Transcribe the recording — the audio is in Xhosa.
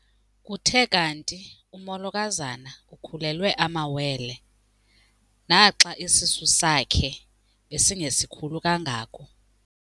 Kuthe kanti umolokazana ukhulelwe amawele naxa isisu sakhe besingesikhulu kangako.